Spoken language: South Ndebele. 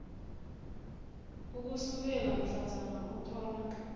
ukusukela mhlazana uthola